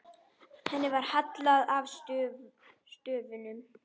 Henni var hallað að stöfum.